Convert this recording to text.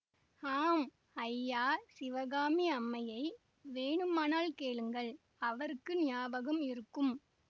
ஆம் ஐயா சிவகாமி அம்மையை வேணுமானால் கேளுங்கள் அவருக்கு ஞாபகம் இருக்கும்